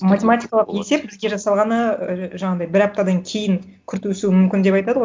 математикалық есеп бізге жасалғаны ііі жаңағындай бір аптадан кейін күрт өсуі мүмкін деп айтады ғой